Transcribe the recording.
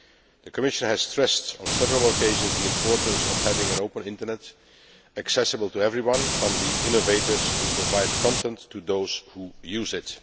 The Commission has stressed on several occasions the importance of having an open internet, accessible to everyone, from the innovators who provide content, to those who use it.